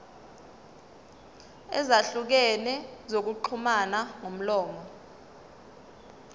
ezahlukene zokuxhumana ngomlomo